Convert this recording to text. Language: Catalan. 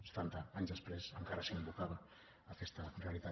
setanta anys després encara s’invocava aquesta realitat